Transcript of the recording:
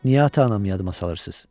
Niyə ata-anamı yadıma salırsınız?